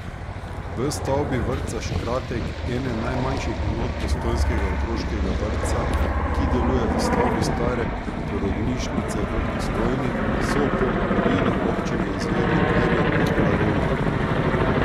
V stavbi vrtca Škratek, ene najmanjših enot postojnskega otroškega vrtca, ki deluje v stavbi stare porodnišnice v Postojni, so po navodilih občine izvedli merjenje radona.